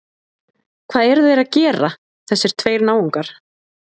Hvað eru þeir að gera, þessir tveir náungar?